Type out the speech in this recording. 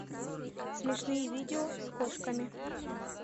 смешные видео с кошками